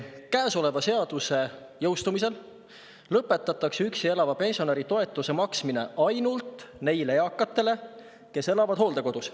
Käesoleva seaduse jõustumisel lõpetatakse üksi elava pensionäri toetuse maksmine ainult neile eakatele, kes elavad hooldekodus.